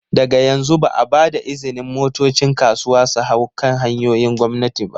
Daga yanzu, ba a ba da izinin motocin kasuwa su hau kan hanyoyin gwamnati ba.